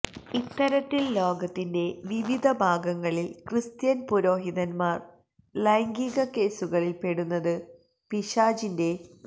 ഇത്തരത്തിൽ ലോകത്തിന്റെ വിവിധ ഭാഗങ്ങളിൽ ക്രിസ്ത്യൻ പുരോഹിതന്മാർ ലൈംഗിക കേസുകളിൽ പെടുന്നത് പിശാചിന്റെ പ